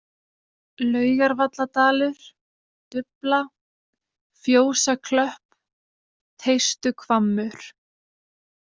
Laugarvalladalur, Dufla, Fjósaklöpp, Teistuhvammur